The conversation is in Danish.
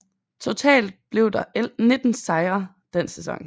Totalt blev der 19 sejre den sæson